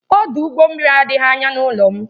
Ọdụ ụgbọ mmiri adịghị anya n'ụlọ m